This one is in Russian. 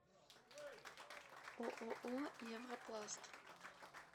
ооо европласт